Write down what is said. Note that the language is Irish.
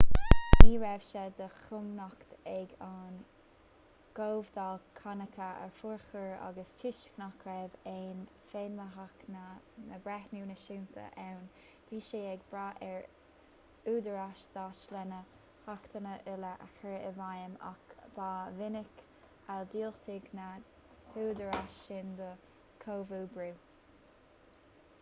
ní raibh sé de chumhacht ag an gcomhdháil cánacha a fhorchur agus toisc nach raibh aon fheidhmeannach ná na breithiúna náisiúnta ann bhí sí ag brath ar údaráis stáit lena hachtanna uile a chur i bhfeidhm ach ba mhinic a dhiúltaigh na húdaráis sin don chomhoibriú